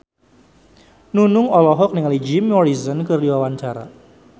Nunung olohok ningali Jim Morrison keur diwawancara